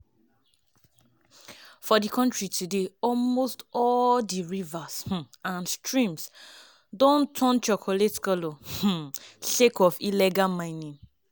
for di kontri today almost all di rivers um and streams don turn chocolate colour um sake of illegal mining.